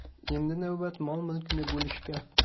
Endi navbat mol-mulkni bo‘lishga.